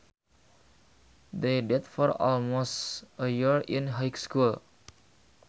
They dated for almost a year in high school